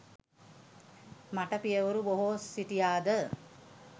මට පියවරු බොහෝ සිටියා ද?